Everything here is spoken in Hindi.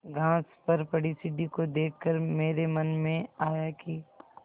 घास पर पड़ी सीढ़ी को देख कर मेरे मन में आया कि